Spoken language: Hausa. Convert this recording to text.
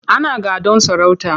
Ana gadon sarauta.